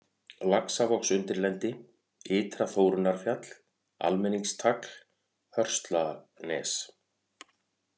Laxavogsundirlendi, Ytra-Þórunnarfjall, Almenningstagl, Hörslanes